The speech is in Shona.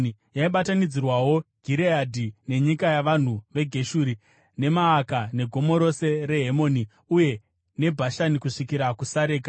Yaibatanidzirawo Gireadhi, nenyika yavanhu veGeshuri neMaaka neGomo rose reHemoni uye neBhashani kusvikira kuSareka,